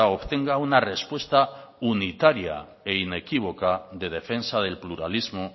obtenga una respuesta unitaria e inequívoca de defensa del pluralismo